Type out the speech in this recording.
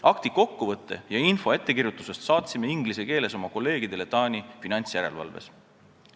Akti kokkuvõtte ja info ettekirjutuse kohta saatsime inglise keeles oma kolleegidele Taani finantsjärelevalves.